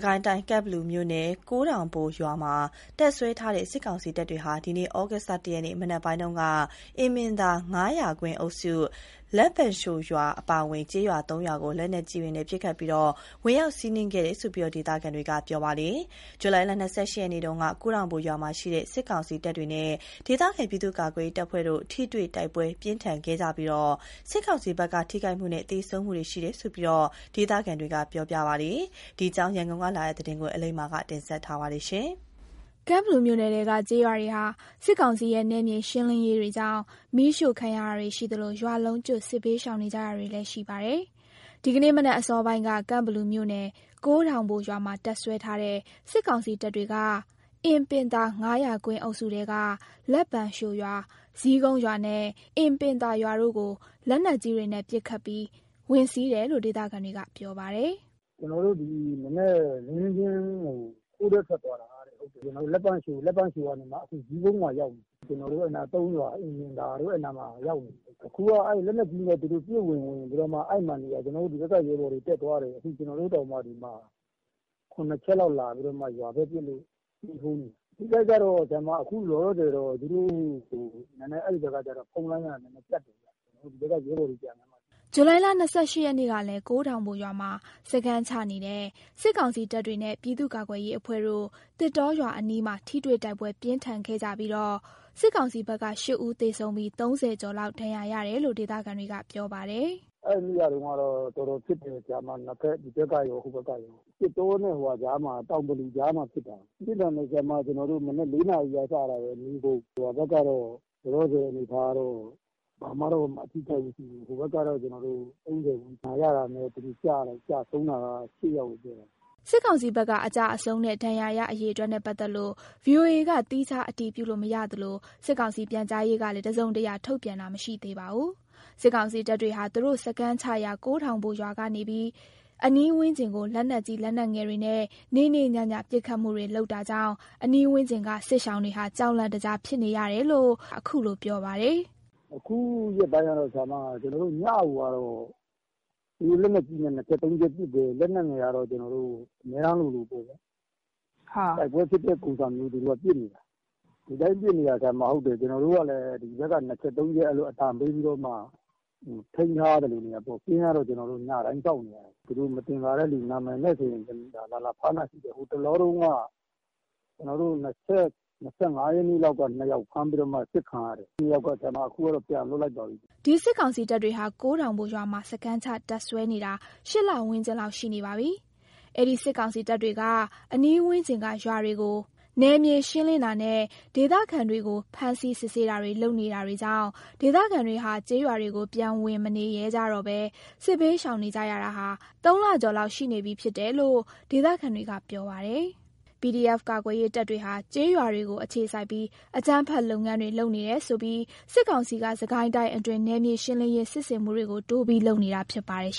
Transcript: ကိုင်းတိုင်း ကန့်ဘလူမြို့နယ် ကိုးထောင်ဘို့ရွာမှာတပ်စွဲထားတဲ့ စစ်ကောင်စီတပ်တွေဟာ ဒီကနေ့ ဩဂုတ်လ ၁ ရက်မနက်ပိုင်းက အင်ပင်သာ ၅၀၀ ကွင်း အုပ်စု၊ လက်ပံလျှိုရွာအပါအဝင် ကျေးရွာ ၃ ရွာကို လက်နက်ကြီးတွေနဲ့ ပစ်ခတ်ပြီး ဝင်ရောက်စီးနင်းခဲ့တယ်လို့ ဒေသခံတွေက ပြောပါတယ်။ ဇူလိုင်လ ၂၈ ရက်နေ့က ကိုးထောင်ဘို့ရွာမှာရှိတဲ့ စစ်ကောင်စီတပ်တွေနဲ့ ဒေသခံ ပြည်သူ့ကာကွယ်ရေးတပ်ဖွဲ့တို့ ထိတွေ့တိုက်ပွဲ ပြင်းထန်ခဲ့ကြပြီး စစ်ကောင်စီဘက်က ထိခိုက်သေဆုံးမှုတွေ ရှိခဲ့တယ်လို့ ဒေသခံတွေက ပြောကြပါတယ်။ ဒီအကြောင်း ရန်ကုန်က လာတဲ့သတင်းကို အလိမ္မာက တင်ပြပေးထားပါတယ်။ ကန့်ဘလူမြို့နယ်ထဲကကျေးရွာတွေဟာ စစ်ကောင်စီရဲ့ နယ်မြေရှင်းလင်းရေးတွေကြောင့် မီးရှို့ခံရတာတွေရှိသလို ရွာလုံးကျွတ် စစ်ဘေးရှောင်နေကြရတာတွေလည်း ရှိကြပါတယ်။ ဒီကနေ့မနက်အစောပိုင်းက ကန့်ဘလူမြို့နယ် ကိုးထောင်ဘို့ ရွာမှာတပ်စွဲထားတဲ့ စစ်ကောင်စီတပ်တွေက အင်ပင်သာ ၅၀၀ ကွင်းအုပ်စုထဲက လက်ပံလျှိုရွာ၊ ဇီးကုန်းရွာနဲ့ အင်ပင်သာရွာတို့ကို လက်နက်ကြီးတွေနဲ့ ပစ်ခတ်ပြီး ဝင်စီးတယ်လို့ ဒေသခံတွေကပြောပါတယ်။ "ဒီမနက် လင်းလင်းချင်းကို သူတို့ တောဘက်ထွက်သွားတာတဲ့ ဟုတ်တယ်။ လက်ပံလျှို၊ လက်ပံလျှိုကနေမှာ အခု ဇီးကုန်းကိုရောက်ပြီ။ ကျနော်တို့ အဲ့နားမှာ ၃ ရွာပေါ့၊ အင်ပင်သာတို့ အဲ့နားမှာ ရောက်နေပြီ။ အခုက သူတို့ လက်နက်ကြီးတွေနဲ့ ပစ်ဝင် ဝင်ပြီးတော့မှ အဲ့မှာ နေနေတာ၊ အခု ကျနော်တို့ဘက်က ရဲဘော်တွေ တက် သွားတယ်။ အခု ကျနော်တို့တောင်မှ ရွာဘက်ကိုလာပစ်လို့ ၇ ချက်လောက်။ ဇီးကုန်းရွာကို။ အထိအခိုက်ကကျတော့ ခုလောလောဆယ်က အဲ့ဘက်တွေက ဖုန်းလိုင်းတွေက ပြတ်တယ်ဗျ၊ အဲ့ဘက်က ရဲဘော်တွေ ပြန်လာမှ သိရမယ်။" ဇူလိုင်လ ၂၈ ရက်နေ့ကလည်း ကိုးထောင်ဘို့ရွာမှာ စခန်းချနေတဲ့ စစ်ကောင်စီတပ်တွေနဲ့ ပြည်သူ့ကာကွယ်ရေးအဖွဲ့တို့ သစ်တောရွာအနီးမှာ ထိတွေ့တိုက်ပွဲ ပြင်းထန်ခဲ့ကြပြီးတော့ စစ်ကောင်စီဘက်က ၈ ဦးသေဆုံးပြီး ၃၀ ကျော်လောက် ဒဏ်ရာရတယ်လို့ ဒေသခံတွေက ပြောပါတယ်။ "အဲ့ဒီနေ့ကတော့ တော်တော်ဖြစ်တယ် ဟိုဘက်ကရော၊ ဒီဘက်ကရော၊ သစ်တောနဲ့ တောင်ကမူကြားမှာဖြစ်တာ။ ပြင်းထန်တယ်။ တိုက်ပွဲက မနက် ၄ နာရီကစတာ နေကုန်ပဲ။ ဒီဘက် ကတော့ လောလောဆယ် အနေအထားကတော့ ဘာမှတော့ အထိအခိုက်မရှိဘူး။ ဟိုဘက်ကတော့ ၃၀ ဒဏ်ရရာတာနဲ့ သေတာကတော့ ၈ ယောက်။" စစ်ကောင်စီဘက်က အကျအဆုံးနဲ့ ဒါဏ်ရာရ အရေအတွက်နဲ့ ပတ်သက်လို့ VOA က သီးခြားအတည်ပြုလို့ မရသလို စစ်ကောင်စီပြန်ကြားရေးကလည်း တစုံတရာထုတ်ပြန်တာမရှိသေးပါဘူး။ စစ်ကောင်စီတပ်တွေဟာ သူတို့ စခန်းချရာ ကိုးထောင်ဘို့ရွာကနေပြီး အနီးဝန်းကျင်ကို လက်နက်ကြီး လက်နက်ငယ်တွေနဲ့ နေ့နေ့ညည ပစ်ခတ်တာကြောင့် အနီးဝန်းကျင်က စစ်ရှောင်တွေဟာ ကြောက်လန့်တကြားဖြစ်နေရတယ်လို့ ခုလိုပြောပါတယ်။ "အခုရက်ပိုင်းကတော့ ညကို လက်နက်ကြီးတွေနဲ့ ၂ ချက်၊ သုံးချက်ပစ်တယ်။ လက်နက်ငယ်တွေနဲ့ကတော့ အမြဲတမ်းလိုလိုပေါ့။ တိုက်ပွဲဖြစ်တဲ့ ပုံစံမျိုးကို သူတို့က ပစ်နေတာ။ ဒီတိုင်းပစ်နေတာ။ သူတို့က။ ကျနော်တို့ကလည်း ဒီဘက်က ၂ ချက်၊ သုံးချက်- အဲ့လိုအသံပေးပြီးတော့မှ ထိန်းထားရတာပေါ့။ ကင်းကတော့ ညတိုင်းစောင့်နေရတယ်။ သူတို့မသင်္ကာတဲ့သူဆိုရင် နာမည်နဲ့ လာလာဖမ်းတာရှိတယ်။ ဟိုတလောတုန်းက ၂၅ ရက်နေ့လောက်ကတုန်းက ၂ ယောက်ဖမ်းပြီးတော့ စစ်ခံရတယ်။ အဲ့ ၂ ယောက်က ခုကတော့ ပြန်လွှတ်လိုက်ပါပြီ။" ဒီစစ်ကောင်စီတပ်တွေဟာ ကိုးထောင်ဘို့ရွာမှာ စခန်းချတပ်စွဲနေတာ ၈ လဝန်းကျင်လောက် ရှိနေပါပြီ။ အဲ့ဒီစစ်ကောင်စီတပ်တွေက အနီးဝန်းကျင်က ရွာတွေကို နယ်မြေရှင်းလင်းတာနဲ့ ဒေသခံတွေကို ဖမ်းဆီးစစ်ဆေးတာတွေကြောင့် ဒေသခံတွေဟာ ကျေးရွာတွေကို ပြန်ဝင်မနေရဲကြတော့ဘဲ စစ်ဘေးရှောင်နေကြရတာဟာ ၃ လကျော်လောက် ရှိနေပြီဖြစ်တယ်လို့ ဒေသခံတွေက ပြောပါတယ်။ PDF ကာကွယ်ရေးတပ်တွေဟာ ကျေးရွာတွေကို အခြေစိုက်ပြီး အကြမ်းဖက်လုပ်ငန်းတွေ လုပ်နေတယ်ဆိုပြီး စစ်ကောင်စီက စစ်ကိုင်းတိုင်းအတွင်း နယ်မြေရှင်းလင်းရေး စစ်ဆင်မှုတွေကို တိုးပြီးလုပ်နေတာဖြစ်ပါတယ်